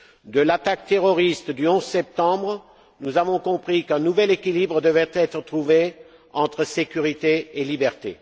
De l'attaque terroriste du 11 septembre, nous avons compris qu'un nouvel équilibre devait être trouvé entre sécurité et liberté.